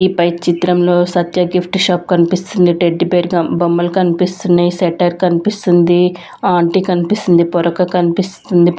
ఈ పై చిత్రంలో సత్యా గిఫ్ట్ షాప్ కనిపిస్తుంది టెడ్డీబేర్ గ బొమ్మలు కనిపిస్తున్నాయి సెక్టర్ కనిపిస్తుంది ఆంటీ కనిపిస్తుంది పొరక కనిపిస్తుంది.